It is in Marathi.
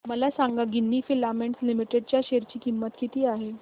मला सांगा गिन्नी फिलामेंट्स लिमिटेड च्या शेअर ची किंमत किती आहे